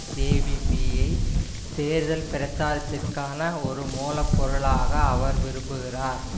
ஜேவிபியை தேர்தல் பிரச்சாரத்திற்கான ஒரு மூலப்பொருளாக அவர் விரும்புகிறார்